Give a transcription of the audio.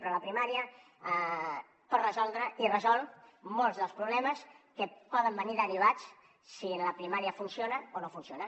però la primària pot resoldre i resol molts dels problemes que poden venir derivats si la primària funciona o no funciona